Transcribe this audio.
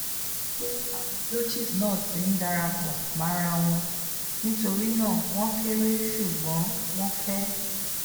bipe awon blotches na ti n darapo morawon um nitorina won kere sugbon won fe